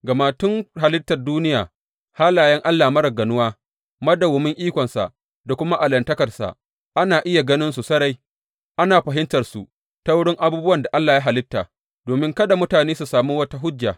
Gama tun halittar duniya halayen Allah marar ganuwa, madawwamin ikonsa da kuma allahntakarsa, ana iya ganinsu sarai, ana fahimtarsu ta wurin abubuwan da Allah ya halitta, domin kada mutane su sami wata hujja.